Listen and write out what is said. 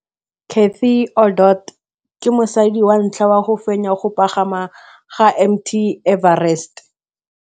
Cathy Odowd ke mosadi wa ntlha wa go fenya go pagama ga Mt Everest.